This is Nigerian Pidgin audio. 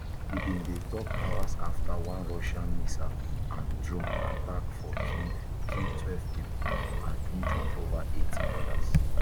e bin dey tok hours afta one russian missile and drone attack for kyiv kill twelve pipo and injure ova eighty odas